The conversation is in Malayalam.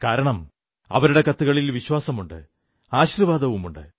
കാരണം അവരുടെ കത്തുകളിൽ വിശ്വാസവുമുണ്ട് ആശീർവ്വാദവുമുണ്ട്